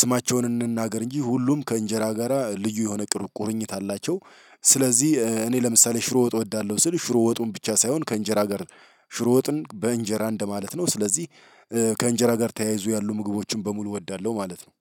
ስማቸውን እንናገር እንጂ ሁሉም ከእንጀራ ጋራ ልዩ የሆነ ቁርኝት አላቸው። ስለዚህ እኔ ለምሳሌ ሽሮ ወጥ እወዳለሁ ስል ሽሮ ወጡን ብቻ ሳይሆን ከእንጀራ ጋር ሽሮ ወጥን በእንጀራ እንደማለት ነው። ስለዚህ ከእንጀራ ጋር ተያይዞ ያሉ ምግቦችን በሙሉ እወዳለሁ ማለት ነው።